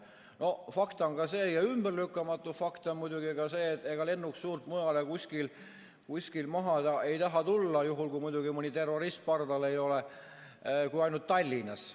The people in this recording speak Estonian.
No fakt ja ümberlükkamatu fakt on muidugi ka see, et ega lennuk suurt kuskil mujal maanduda ei taha – muidugi juhul kui mõni terrorist pardal ei ole – kui ainult Tallinnas.